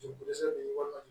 Jirisen ninnu na